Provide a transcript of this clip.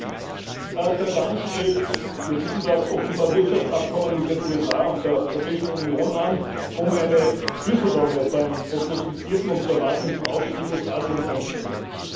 Herr Präsident! Taiwan strebt wir wissen das offenbar Wirtschaftsabkommen mit den USA und der Europäischen Union an, um eine Schlüsselrolle beim prognostizierten und zu erwartenden Aufstieg Ostasiens einzunehmen.